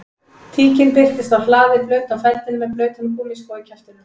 Tíkin birtist á hlaði blaut á feldinn með blautan gúmmískó í kjaftinum